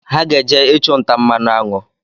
Ha ga-eje ịchụnta mmanụ aṅụ